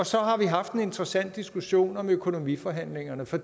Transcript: så har vi haft en interessant diskussion om økonomiforhandlingerne for